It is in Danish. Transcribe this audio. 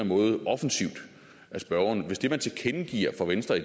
måde offensivt af spørgeren hvis det man tilkendegiver fra venstres